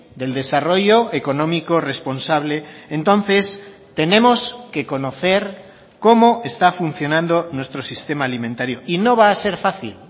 del desarrollo económico responsable entonces tenemos que conocer cómo está funcionando nuestro sistema alimentario y no va a ser fácil